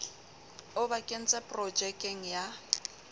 o ba kentseng projekeng ya